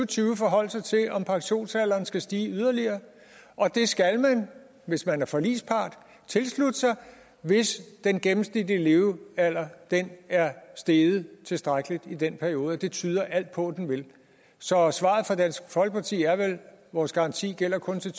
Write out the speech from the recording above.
tyve forholde sig til om pensionsalderen skal stige yderligere og det skal man hvis man er forligspart tilslutte sig hvis den gennemsnitlige levealder er steget tilstrækkeligt i den periode og det tyder alt på at den vil så svaret fra dansk folkeparti er vel vores garanti gælder kun til